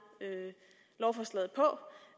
lovforslaget på